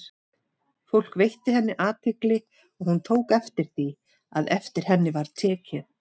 Fólk veitti henni athygli, og hún tók eftir því, að eftir henni var tekið.